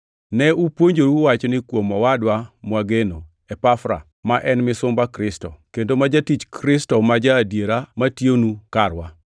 Ne upuonjoru wachni kuom owadwa mwageno Epafra ma en misumba Kristo, kendo ma jatich Kristo ma ja-adiera matiyonu karwa.